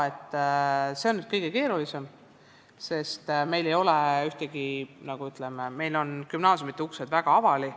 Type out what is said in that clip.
See on kõige keerulisem probleem, sest meil on gümnaasiumide uksed väga avali.